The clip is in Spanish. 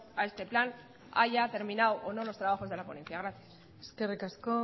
a este plan haya terminado o no los trabajos de la ponencia gracias eskerrik asko